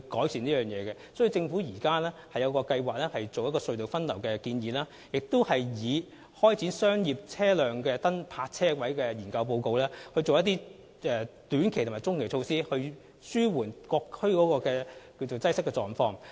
所以，政府現時計劃採用隧道分流的建議，並根據商業車輛泊車位的研究報告，採取一些短期及中期措施，以紓緩各區的交通擠塞情況。